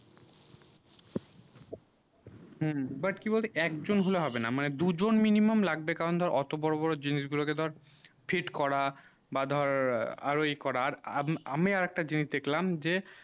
হম but কি বল তো এক জন হলে হবে না মানে দু জন minimum লাগবে কারণ ধর অটো বোরো বোরো জিনিস গুলু কে ধর fit করা বা ধর আরও ই করা করার আমি আরও একটা জিনিস দেখলাম যে